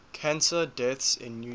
cancer deaths in new york